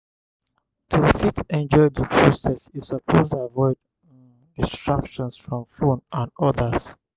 to fit enjoy di process you suppose avoid um distractions from phone and others